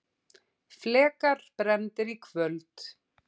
Flekar brenndir í kvöld